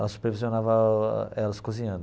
Ela supervisionava elas cozinhando.